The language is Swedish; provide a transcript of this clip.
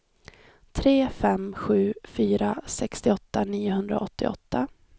tre fem sju fyra sextioåtta niohundraåttioåtta